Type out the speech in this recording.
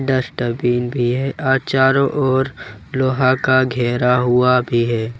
Dustbin भी है आर चारों ओर लोहा का घेरा हुआ भी है।